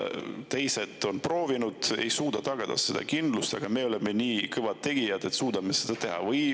Teised on proovinud, ei suuda tagada seda kindlust, aga me oleme nii kõvad tegijad, et suudame seda teha?